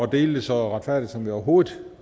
dele det så retfærdigt som vi overhovedet